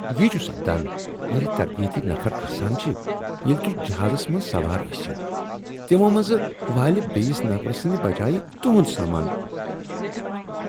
یی چھ سپدان ییٚلہ تربیتی نفر آسان چھ۔ ییٚلہ تُہۍ جہازس منٛز سوار ٲسوٕ، تمو منٛز والہ بیٚیس نفرٕ سٕندۍ بجایہ تُہنٛد سامان۔